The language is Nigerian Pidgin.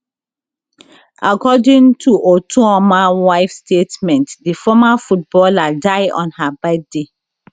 according to otuoma wife statement di former footballer die on her birthday